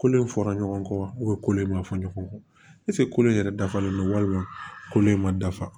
Kolo in fɔra ɲɔgɔn kɔ kolo in ma fɔ ɲɔgɔn kɔ ɛsike kolon in yɛrɛ dafalen do walima kolo in ma dafa